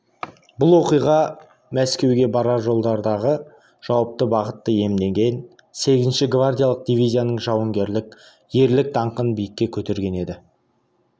бұл оқиға мәскеуге барар жолдардағы жауапты бағытты иемдеген сегізінші гвардиялық дивизияның жауынгерлік ерлік даңқын биікке көтерген еді